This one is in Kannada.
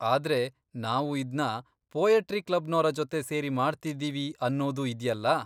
ಆದ್ರೆ, ನಾವು ಇದ್ನ ಪೋಯಟ್ರಿ ಕ್ಲಬ್ನೋರ ಜೊತೆ ಸೇರಿ ಮಾಡ್ತಿದ್ದೀವಿ ಅನ್ನೋದೂ ಇದ್ಯಲ್ಲ.